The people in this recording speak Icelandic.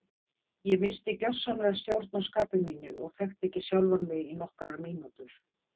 Ég missti gjörsamlega stjórn á skapi mínu og þekkti ekki sjálfan mig í nokkrar mínútur.